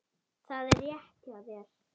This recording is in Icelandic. Það er rétt hjá þér.